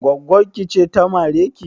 Gwaggon ki ce ta mare ki?